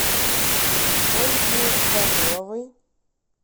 ольги даниловой